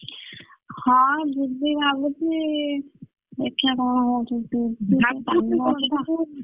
ହଁ ଯିବି ଭାବୁଛି ଦେଖିଆ କଣ ହଉଛି